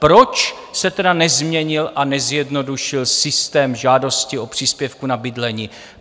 Proč se tedy nezměnil a nezjednodušil systém žádostí o příspěvek na bydlení?